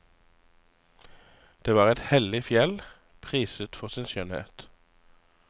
Det var et hellig fjell, priset for sin skjønnhet.